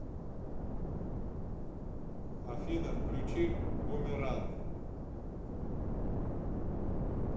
афина включи бумеранг